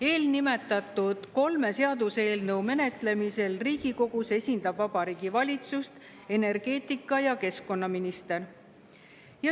Eelnimetatud kolme seaduseelnõu menetlemisel Riigikogus esindab Vabariigi Valitsust energeetika- ja keskkonnaminister.